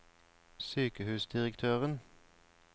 sykehusdirektøren